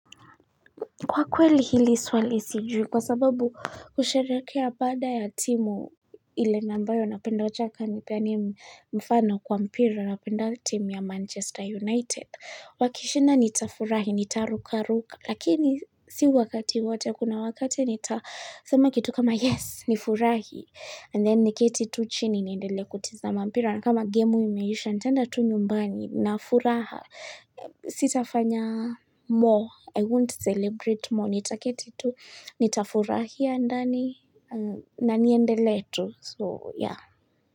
Kwa kweli hili swali sijui kwa sababu kusherekea baada ya timu ile na ambayo na penda wacha ka nipeane mfano kwa mpira na penda timu ya Manchester United. Wakishinda nita furahi, nitaruka ruka. Lakini si wakati wote kuna wakati nita sema kitu kama yes ni furahi. And then ni keti tu chini ni enedele kutizama mpira. Kama gemu imeisha, nitaenda tu nyumbani na furaha sitafanya more I won't celebrate more nitaketi tu, nitafurahia ndani, na niendele tu, so yeah.